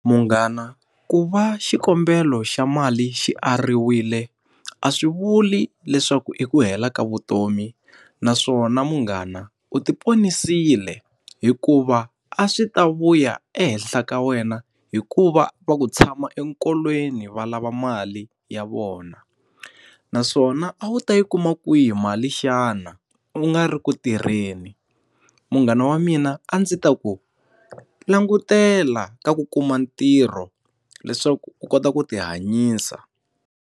Munghana ku va xikombelo xa mali xi ariwile, a swi vuli leswaku i ku hela ka vutomi naswona munghana u ti ponisile hikuva a swi ta vuya ehenhla ka wena hi ku va va ku tshama enkolweni, va lava mali ya vona. Naswona a wu ta yi kuma kwihi mali xana u nga ri ku tirheni? Munghana wa mina a ndzi ta ku, langutela ka ku kuma ntirho leswaku u kota ku ti hanyisa.